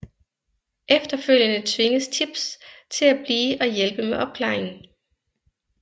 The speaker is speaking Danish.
Efterfølgende tvinges Tibbs til at blive og hjælpe med opklaringen